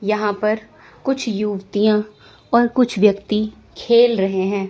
यहां पर कुछ युवतियां और कुछ व्यक्ति खेल रहे हैं।